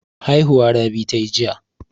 Haihuwa Rabi ta yi jiya.